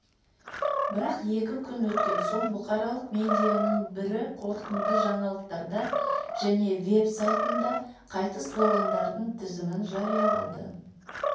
бірақ екі күн өткен соң бұқаралық медианың бірі қорытынды жаңалықтарда және веб-сайтында қайтыс болғандардың тізімін жариялады